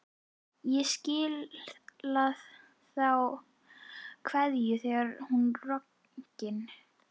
Ég skila þá kveðju, segir hún roggin.